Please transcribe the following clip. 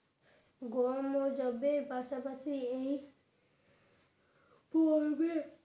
গরমও যাবে পাশাপাশি এক পরবে